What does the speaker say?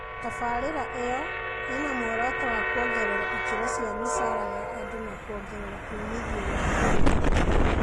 Tabarĩra ĩyo ĩna muoroto wa kuongerera ikĩro cia mĩcara ya andu na kuongerea umithio wa ũrĩmi